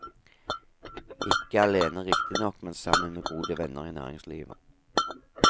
Ikke alene riktignok, men sammen med gode venner i næringslivet.